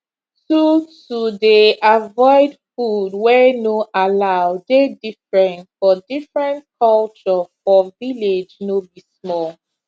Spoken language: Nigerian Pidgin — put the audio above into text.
to to dey avoid food wey no allow dey different for different culture for village no be small